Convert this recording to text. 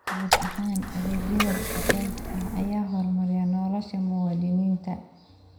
Guud ahaan, adeegyada dhijitaalka ah ayaa horumariya nolosha muwaadiniinta.